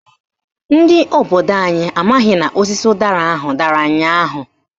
Ndị obodo anyị amaghị n'osisi ụdara ahụ dara ụnyaahụ.